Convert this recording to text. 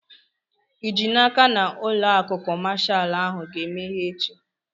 Ị ji n'aka na ụlọ akụ kọmashal ahụ ga-emeghe echi?